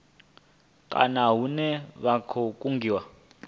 kana hune vha khou kungiwa